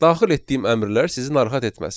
Daxil etdiyim əmrlər sizin narahat etməsin.